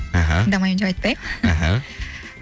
аха тыңдамаймын деп айтпаймын аха